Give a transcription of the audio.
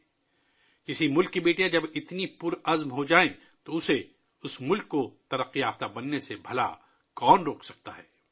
جب کسی ملک کی بیٹیاں اتنی جرأت مند ہو جائیں تو اس ملک کو ترقی سے کون روک سکتا ہے!